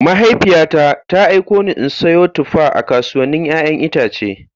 Mahaifiyata ta aiko ni in sayo tuffa a kasuwannin 'ya'yan itace.